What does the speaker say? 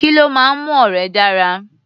Kí ló máa ń mú ọ̀rẹ́ dára?